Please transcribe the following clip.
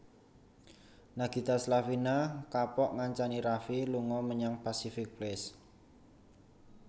Nagita Slavina kapok ngancani Raffi lunga menyang Pacific Place